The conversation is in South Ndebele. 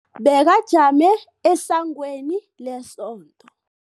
Bekajame esangweni lesonto.